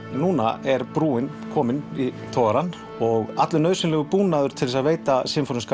núna er brúin komin í togarann og allur nauðsynlegur búnaður til að veita